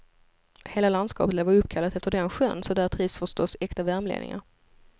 Hela landskapet lär vara uppkallat efter den sjön, så där trivs förstås äkta värmlänningar.